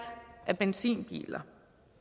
af benzinbiler